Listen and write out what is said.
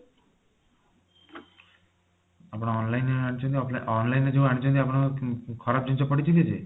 ଆପଣ online ରୁ ଆଣିଛନ୍ତି off online ରୁ ଯୋଊ ଆଣିଛନ୍ତି ଆପଣ ଖରାପ ଜିନିଷ ପଡିଛି କିଛି